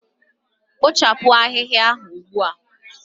Kpochapụ ahịhịa ugbu a